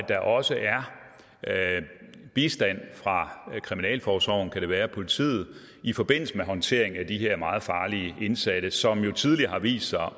der også er bistand fra kriminalforsorgen kan det være eller politiet i forbindelse med håndteringen af de her meget farlige indsatte som jo tidligere har vist sig at